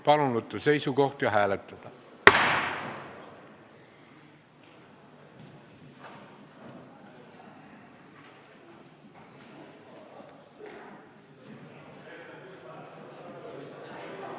Palun võtta seisukoht ja hääletada!